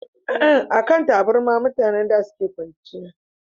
a kan taburma mutane suke kwanciya da